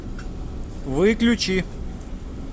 выключи